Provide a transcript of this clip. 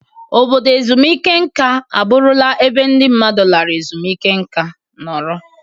Obodo ezumike nka abụrụla ebe ndị mmadụ lara ezumike nka nọrọ.